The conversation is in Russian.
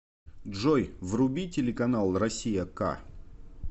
джой вруби телеканал россия к